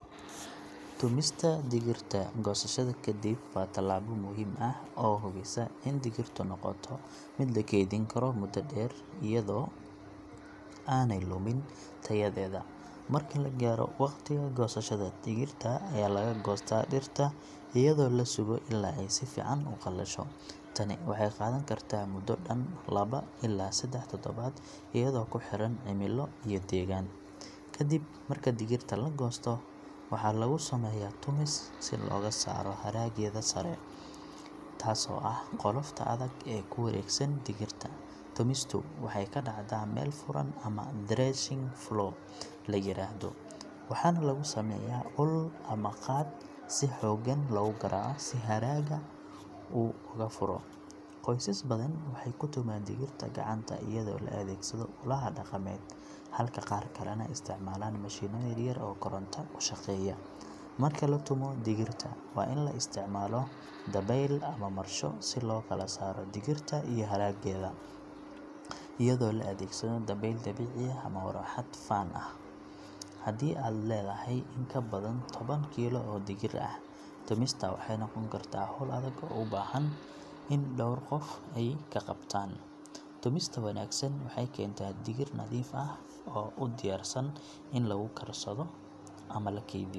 Tumista digirta goosashada kadib waa tallaabo muhiim ah oo hubisa in digirtu noqoto mid la keydin karo muddo dheer iyadoo aanay lumin tayadeeda. Marka la gaaro waqtiga goosashada, digirta ayaa laga goostaa dhirta iyadoo la sugo illaa ay si fiican u qalasho. Tani waxay qaadan kartaa muddo dhan laba illaa saddex toddobaad iyadoo ku xiran cimilo iyo deegaan. Kadib marka digirta la goosto, waxaa lagu sameeyaa tumis si looga saaro haraggeeda sare, taasoo ah qolofta adag ee ku wareegsan digirta. Tumistu waxay ka dhacdaa meel furan ama threshing floor la yiraahdo, waxaana lagu sameeyaa ul ama qaad si xooggan loogu garaaco si haragga uu uga furo. Qoysas badan waxay ku tumaan digirta gacanta iyadoo la adeegsado ulaha dhaqameed, halka qaar kalena isticmaalaan mashiinno yar yar oo koronto ku shaqeeya. Marka la tumo digirta, waa in la isticmaalo dabayl ama marsho si loo kala saaro digirta iyo haraggeeda, iyadoo la adeegsado dabayl dabiici ah ama marawaxad fan ah. Haddii aad leedahay in ka badan toban kiilo oo digir ah, tumista waxay noqon kartaa hawl adag oo u baahan in dhowr qof ay ka qayb qaataan. Tumista wanaagsan waxay keentaa digir nadiif ah oo u diyaarsan in lagu karsado ama la kaydiyo.